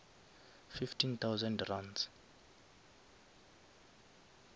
fifteen thousand runs